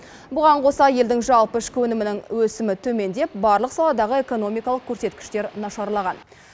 бұған қоса елдің жалпы ішкі өнімінің өсімі төмендеп барлық саладағы экономикалық көрсеткіштер нашарлаған